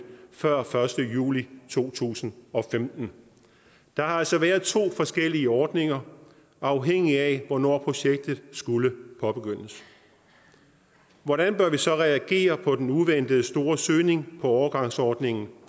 før den første juli to tusind og femten der har altså været to forskellige ordninger afhængigt af hvornår projektet skulle påbegyndes hvordan bør vi så reagere på den uventede store søgning på overgangsordningen